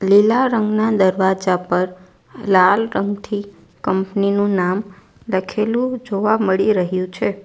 લીલા રંગના દરવાજા પર લાલ રંગથી કંપની નું નામ લખેલું જોવા મળી રહ્યું છે.